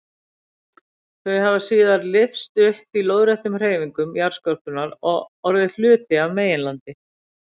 Þau hafa síðar lyfst upp í lóðréttum hreyfingum jarðskorpunnar og orðið hluti af meginlandi.